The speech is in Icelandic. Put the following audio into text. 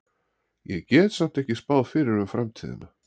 Ég get samt ekki spáð fyrir um framtíðina.